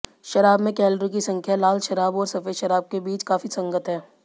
शराब में कैलोरी की संख्या लाल शराब और सफेद शराब के बीच काफी संगत है